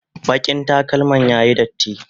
bakin takalman ya Yi datti